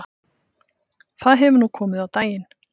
Það hefur nú komið á daginn